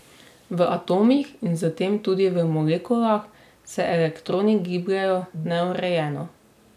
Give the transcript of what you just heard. V atomih in s tem tudi v molekulah se elektroni gibljejo neurejeno.